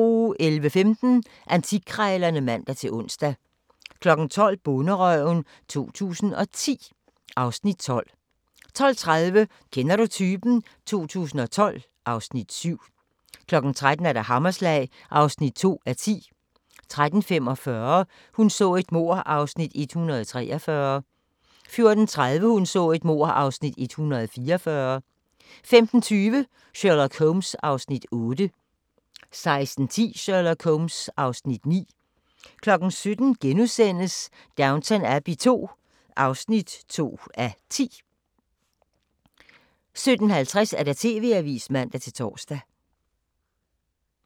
11:15: Antikkrejlerne (man-ons) 12:00: Bonderøven 2010 (Afs. 12) 12:30: Kender du typen? 2012 (Afs. 7) 13:00: Hammerslag (2:10) 13:45: Hun så et mord (Afs. 143) 14:30: Hun så et mord (Afs. 144) 15:20: Sherlock Holmes (Afs. 8) 16:10: Sherlock Holmes (Afs. 9) 17:00: Downton Abbey II (2:10)* 17:50: TV-avisen (man-tor)